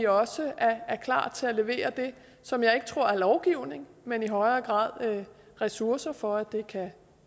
også at være klar til at levere det som jeg ikke tror er lovgivning men i højere grad ressourcer for at det kan